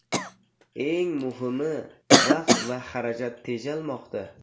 Eng muhimi, vaqt va xarajat tejalmoqda.